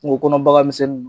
Kungo kɔnɔ bagan misɛnni